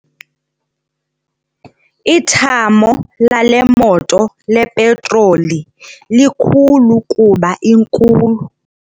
Ithamo lale moto lepetroli likhulu kuba inkulu.